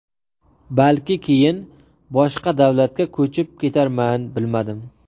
Balki keyin boshqa davlatga ko‘chib ketarman, bilmadim.